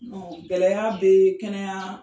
Gɛlɛya bɛ kɛnɛya